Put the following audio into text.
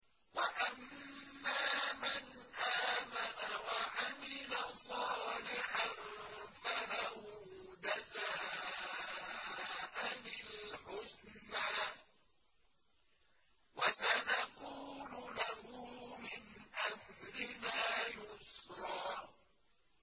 وَأَمَّا مَنْ آمَنَ وَعَمِلَ صَالِحًا فَلَهُ جَزَاءً الْحُسْنَىٰ ۖ وَسَنَقُولُ لَهُ مِنْ أَمْرِنَا يُسْرًا